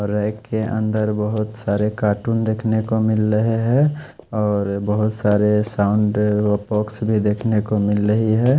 Rack के अंदर बहत सारे कार्टून देखने को मिल रहे है और बहत सारे साउंड बॉक्स भी देखने को मिल रहे है।